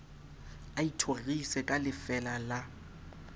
a ithorise ka lefeela la